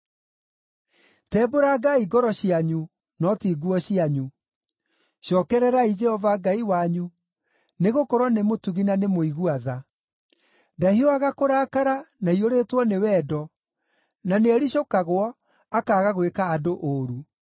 Tembũrangai ngoro cianyu no ti nguo cianyu. Cookererai Jehova Ngai wanyu, nĩgũkorwo nĩ mũtugi na nĩ mũigua-tha, ndahiũhaga kũrakara, na aiyũrĩtwo nĩ wendo, na nĩericũkagwo, akaaga gwĩka andũ ũũru.